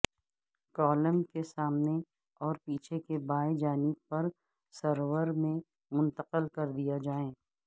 column کے سامنے اور پیچھے کے بائیں جانب پر سرور میں منتقل کر دیا جائے